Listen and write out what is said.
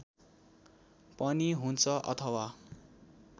पनि हुन्छ अथवा